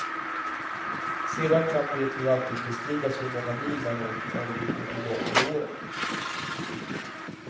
Sedan kan det ju alltid bestridas hur många mil man åkt, om vi går tillbaka i åren.